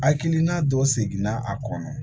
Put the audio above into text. Hakilina dɔ seginna a kɔnɔ